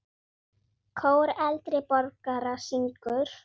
Kór eldri borgara syngur.